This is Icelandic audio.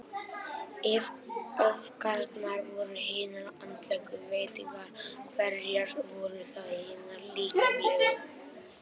Ef öfgarnar voru hinar andlegu veitingar, hverjar voru þá hinar líkamlegu?